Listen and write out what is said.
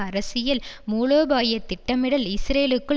அரசியல் மூலோபாய திட்டமிடல் இஸ்ரேலுக்குள்